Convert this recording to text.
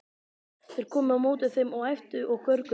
Þeir komu á móti þeim og æptu og görguðu.